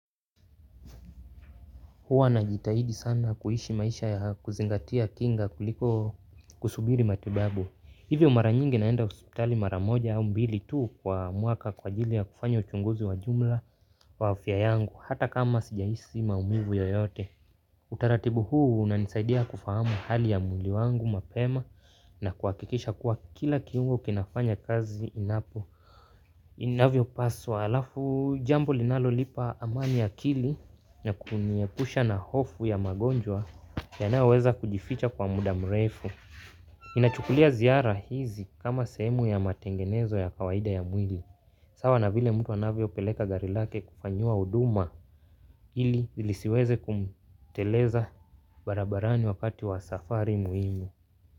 Huwa najitahidi sana kuishi maisha ya kuzingatia kinga kuliko kusubiri matibabu. Hivyo mara nyingi naenda hospitali mara moja au mbili tu kwa mwaka kwa ajili ya kufanya uchunguzi wa jumla wa afya yangu hata kama sijahisi maumivu yoyote. Utaratibu huu unanisaidia kufahamu hali ya mwili wangu mapema na kuhakikisha kuwa kila kiungo kinafanya kazi inapo. Inavyopaswa alafu jambo linalonipa amani ya akili na kuniepusha na hofu ya magonjwa yanayoweza kujificha kwa muda mrefu. Ninachukulia ziara hizi kama sehemu ya matengenezo ya kawaida ya mwili. Sawa na vile mtu anavyopeleka gari lake kufanyiwa huduma ili lisiweze kumteleza barabarani wakati wa safari muhimu.